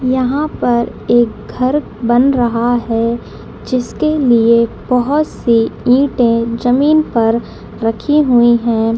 यहां पर एक घर बन रहा है जिसके लिए बहुत सी ईटे जमीन पर रखी हुई हैं।